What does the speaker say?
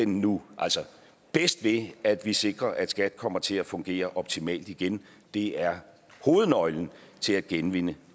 nu bedst ved at vi sikrer at skat kommer til at fungere optimalt igen det er hovednøglen til at genvinde